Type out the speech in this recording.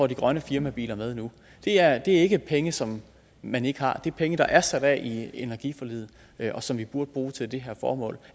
de grønne firmabiler med nu det er ikke penge som man ikke har det er penge der er sat af i energiforliget som vi burde bruge til det her formål